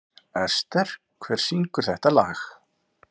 Ester, hver syngur þetta lag?